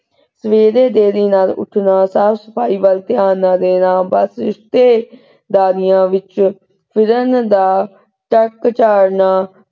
ਸਵੇਰੇ ਦੇਰੀ ਨਾਲ ਉੱਠਣਾ, ਸਾਫ ਸਫਾਈ ਵੱਲ ਧਿਆਨ ਨਾ ਦੇਣਾ ਬਸ ਰਿਸ਼ਤੇਦਾਰੀਆਂ ਵਿਚ ਫਿਰਨ ਦਾ ਚਾੜ੍ਹਨਾ।